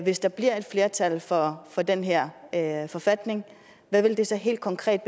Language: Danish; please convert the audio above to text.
hvis der bliver et flertal for for den her her forfatning hvad det så helt konkret